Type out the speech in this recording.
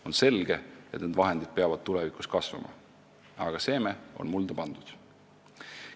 On selge, et need vahendid peavad tulevikus kasvama, aga seeme on mulda pandud.